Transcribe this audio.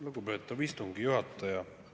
Lugupeetav istungi juhataja!